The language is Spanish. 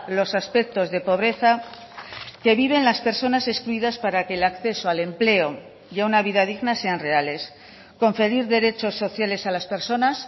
los aspectos de pobreza que viven las personas excluidas para que el acceso al empleo y a una vida digna sean reales conferir derechos sociales a las personas